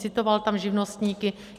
Citoval tam živnostníky.